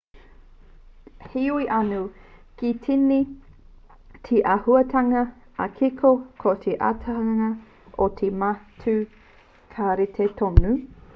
heoi anō kei tīni te āhuatanga ā-kiko ko te āhuatanga o te matū ka rite tonu